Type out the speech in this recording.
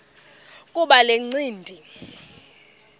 kuba le ncindi